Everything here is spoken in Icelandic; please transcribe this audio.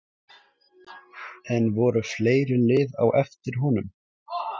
En voru fleiri lið á eftir honum?